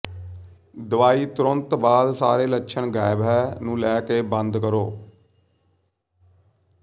ਦਵਾਈ ਤੁਰੰਤ ਬਾਅਦ ਸਾਰੇ ਲੱਛਣ ਗਾਇਬ ਹੈ ਨੂੰ ਲੈ ਕੇ ਬੰਦ ਕਰੋ